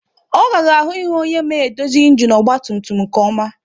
Ọ ghara ahụ ihu onye ma edozi ịnginu ọgba tum tum nke ọma